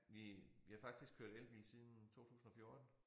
Vi vi har faktisk kørt elbil siden 2014